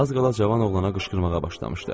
Az qala cavan oğlana qışqırmağa başlamışdı.